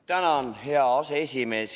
Tänan, hea aseesimees!